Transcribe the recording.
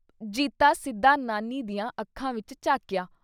ਜੀਤਾ ਸਿੱਧਾ ਨਾਨੀ ਦੀਆਂ ਅੱਖਾਂ ਵਿੱਚ ਝਾਕਿਆ।"